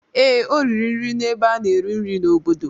Ee, o riri nri n'ebe a na-eri nri n'obodo.